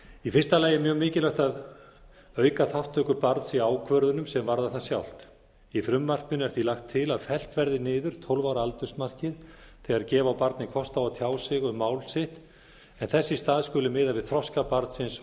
í fyrsta lagi er mjög mikilvægt að auka þátttöku barns í ákvörðunum sem varðar það sjálft í frumvarpinu er því lagt til að fellt verði niður tólf ára aldursmarkið þegar gefa á barni kost á að tjá sig um mál sitt en þess í stað skuli miða við þroska barnsins